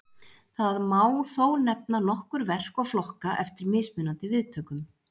Það má þó nefna nokkur verk og flokka eftir mismunandi viðtökum.